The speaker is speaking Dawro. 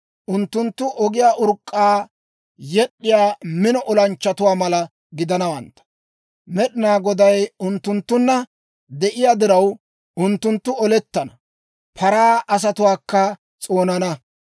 Unttunttu ogiyaa urk'k'aa yed'd'iyaa mino olanchchatuwaa mala gidanawantta; Med'inaa Goday unttunttunna de'iyaa diraw, unttunttu olettana; paraa asatuwaakka s'oonana.